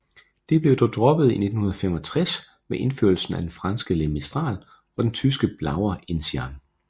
Det blev dog droppet i 1965 med indførelsen af den franske Le Mistral og den tyske Blauer Enzian